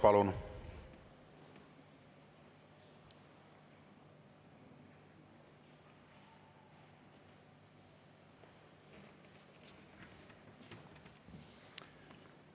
Palun!